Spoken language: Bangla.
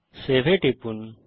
সেভ এ টিপুন